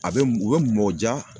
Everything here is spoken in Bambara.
A bɛ m u bɛ mɔ ja